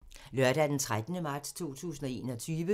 Lørdag d. 13. marts 2021